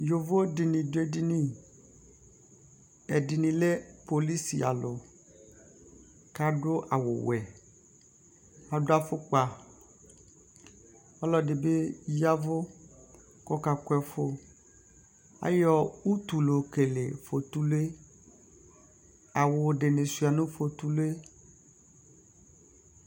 yɔvɔ dini dʋ ɛdini, ɛdini lɛ polisi alʋ kʋ adʋ awʋ wɛ, adʋ aƒʋkpa, ɔlɔdi bi yavʋ kʋ ɔka kʋ ɛƒʋ ayɔ ʋtʋ layɔ kɛlɛ ƒɔtʋlʋɛ awʋ dini sʋa nʋ ƒɔtʋlʋɛ